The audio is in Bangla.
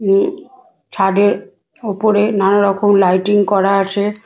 উম ছাদের ওপরে নানারকম লাইটিং করা আছে।